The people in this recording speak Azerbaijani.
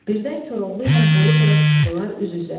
Birdən Koroğlu ilə Bolubəy çıxdılar üz-üzə.